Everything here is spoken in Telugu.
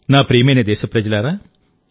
నా ప్రియమైన దేశప్రజలారా